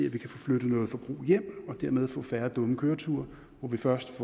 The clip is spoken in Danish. at vi kan få flyttet noget forbrug hjem og dermed få færre dumme køreture hvor der først